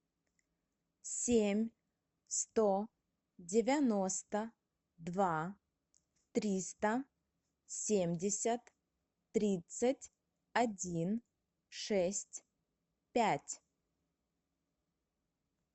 семь сто девяносто два триста семьдесят тридцать один шесть пять